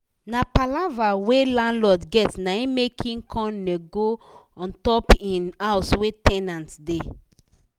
na palava wey landlord get naim make he come nego untop him house wey ten ant da